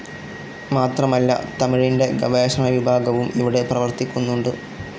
മാത്രമല്ല തമിഴിൻ്റെ ഗവേഷണ വിഭാഗവും ഇവിടെ പ്രവർത്തിക്കുന്നുണ്ട്.